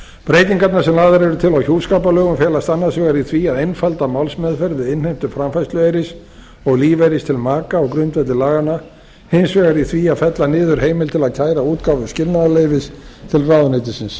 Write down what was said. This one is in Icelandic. breytingarnar sem lagðar eru til á hjúskaparlögum felast annars vegar í því að einfalda málsmeðferð við innheimtu framfærslueyris og lífeyris til maka á grundvelli laganna hins vegar í því að fella niður heimild til að kæra útgáfu skilnaðarleyfis til ráðuneytisins